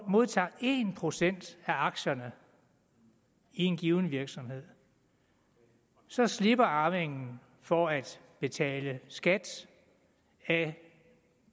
modtager en procent af aktierne i en given virksomhed så slipper arvingen for at betale skat af